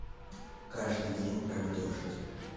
каждый день как дождь